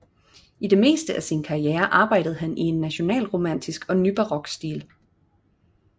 I det meste af sin karriere arbejdede han i en nationalromantisk og nybarok stil